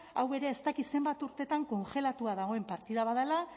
hau ere ez dakit zenbat urteetan kongelatua dagoen partida bat dela